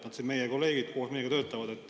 Nad on meie kolleegid, koos meiega töötavad.